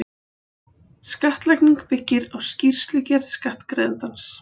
Skattlagning byggir á skýrslugerð skattgreiðandans.